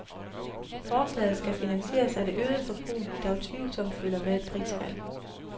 Forslaget skal finansieres af det øgede forbrug, der utvivlsomt følger med et prisfald.